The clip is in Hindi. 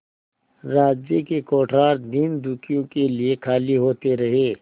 राज्य के कोठार दीनदुखियों के लिए खाली होते रहे